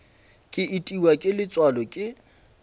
ke itiwa ke letswalo ke